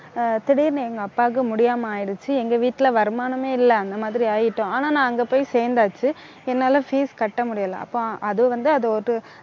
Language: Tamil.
ஆஹ் திடீர்ன்னு எங்க அப்பாவுக்கு முடியாம ஆயிடுச்சு. எங்க வீட்டுல வருமானமே இல்லை. அந்த மாதிரி ஆயிட்டோம். ஆனா நான் அங்க போய் சேர்ந்தாச்சு என்னால fees கட்ட முடியல. அப்போம் அது வந்து அது ஒரு